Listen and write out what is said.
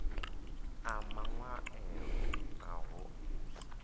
a maṅwaelo aho u sa